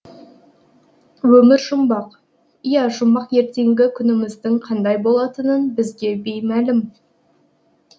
өмір жұмбақ иә жұмбақ ертеңгі күніміздің қандай болатынын бізге беймәлім